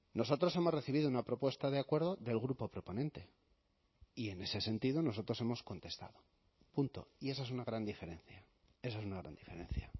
nosotros hemos recibido una propuesta de acuerdo del grupo proponente y en ese sentido nosotros hemos contestado punto y esa es una gran diferencia esa es una gran diferencia